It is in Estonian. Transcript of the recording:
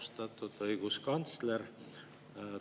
Austatud õiguskantsler!